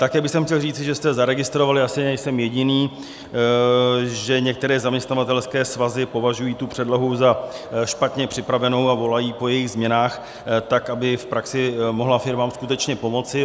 Také bych chtěl říci, že jste zaregistrovali, asi nejsem jediný, že některé zaměstnavatelské svazy považují tu předlohu za špatně připravenou a volají po jejích změnách tak, aby v praxi mohla firmám skutečně pomoci.